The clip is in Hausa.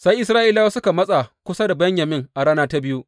Sai Isra’ilawa suka matsa kusa da Benyamin a rana ta biyu.